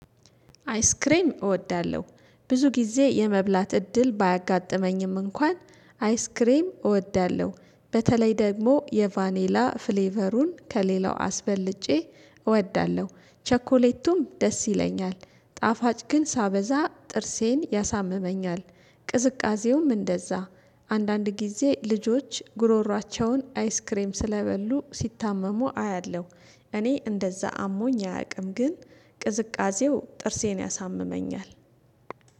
አይስክሬም እወዳለሁ፥ ብዙ ጊዜ የመብላት እድል ባያጋጥመኝም እንኳን አይስክሬም እወዳለሁ። በተለይ ደግሞ የቫኔላ ፍሌቨሩን ከሌላው አስበልጬ እወዳለሁ ቸኮሌቱም ደስ ይለኛል፣ ጣፋጭ ግን ሳበዛ ጥርሴን ያሳምመኛል ቅዝቃዜውም እንደዛ። አንዳንድ ጊዜ ልጆች ጉሮሮአቸውን አይስክሬም ስለበሉ ሲታመሙ አያለሁ። እኔ እንደዛ አሞኝ አያውቅም ግን ቅዝቃዜው ጥርሴን ያሳምመኛል።